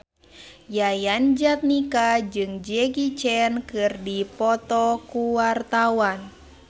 Yayan Jatnika jeung Jackie Chan keur dipoto ku wartawan